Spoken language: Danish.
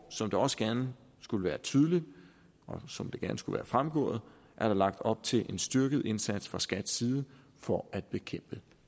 som det også gerne skulle være tydeligt og som det gerne skulle være fremgået er der lagt op til en styrket indsats fra skats side for at bekæmpe